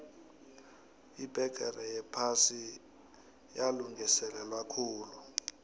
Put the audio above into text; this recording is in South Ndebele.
ibbegere yephasi yalungiselelwakhulu